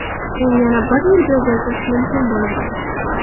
Uni yana bir yilga uzaytirish mumkin bo‘ladi.